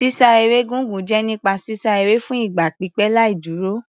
Sísá eré gígùn jẹ́ nípa sísá eré fún ìgbà pípẹ́ láì dúró.